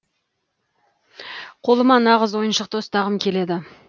қолыма нағыз ойыншықты ұстағым келеді